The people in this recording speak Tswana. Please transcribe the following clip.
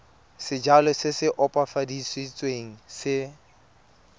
sejalo se se opafaditsweng se